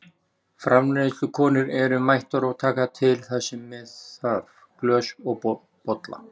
Framreiðslukonur eru mættar og taka til það sem með þarf, glös og bolla.